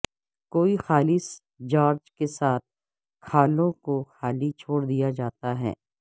کوئی خالص چارج کے ساتھ کھالوں کو خالی چھوڑ دیا جاتا ہے